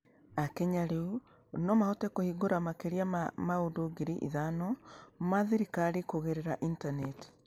Akenya rĩu no mahote kũhingũra makĩria ma maũndũ ngiri ithano ma thirikari kũgerera Intaneti.